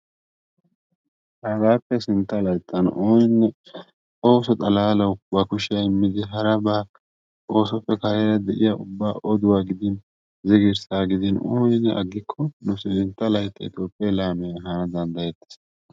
hagappe sintta layttan ooninne ooso xalaalaw ba kushiyaa immidi harabaa oosoppe kareera de'iyaa ubba oduwa gidin, ziggirssa gidin ooninne aggikko nu sintta layttan itoophe laammiya ehana danddayeetees.